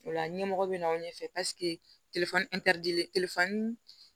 O la ɲɛmɔgɔ bɛ na aw ɲɛ fɛ